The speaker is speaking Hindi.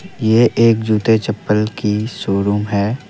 ये एक जूते चप्पल की शोरूम है।